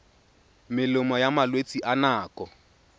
melemo ya malwetse a nako